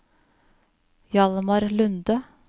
Hjalmar Lunde